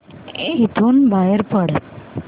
इथून बाहेर पड